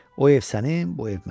O ev sənin, bu ev mənim.